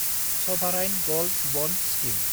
सभाराइन gold bond scheme